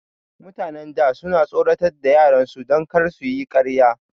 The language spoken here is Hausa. Mutanen da suna tsoratar da yaran su don kar suyi karya